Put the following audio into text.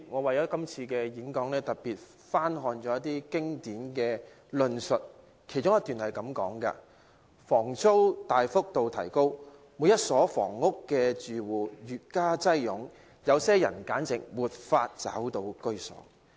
為了是次發言，我特意翻看一些經典著作，以下引述自其中一段："房租大幅度提高，每一所房屋的住戶越加擁擠，有些人簡直無法找到居所。